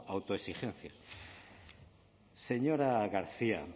autoexigencia señora garcia